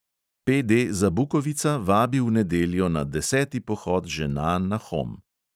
PD zabukovica vabi v nedeljo na deseti pohod žena na hom.